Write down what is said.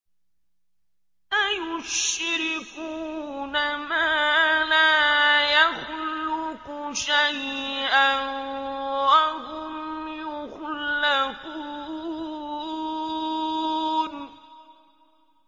أَيُشْرِكُونَ مَا لَا يَخْلُقُ شَيْئًا وَهُمْ يُخْلَقُونَ